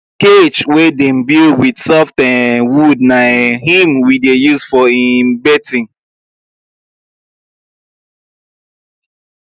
cage wey dem build with soft um wood na um him we dey use for um birthing